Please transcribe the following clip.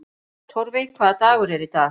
Torfey, hvaða dagur er í dag?